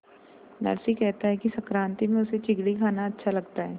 नरसी कहता है कि संक्रांति में उसे चिगडी खाना अच्छा लगता है